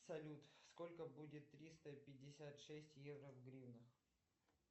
салют сколько будет триста пятьдесят шесть евро в гривнах